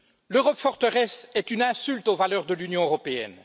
L'Europe forteresse est une insulte aux valeurs de l'Union européenne.